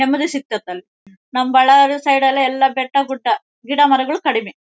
ನೆಮ್ಮದಿ ಸಿಗ್ತತ್ತೆ ಅಲ್ಲಿ ನಮ್ ಬಳ್ಳಾರಿ ಸೈಡ್ ನಲ್ಲಿ ಎಲ್ಲ ಬೆಟ್ಟ ಗುಡ್ಡ ಗಿಡ ಮರಗಳು ಕಡಿಮೆ.